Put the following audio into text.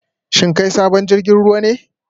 Shin kai sabon jirgin ruwa ne?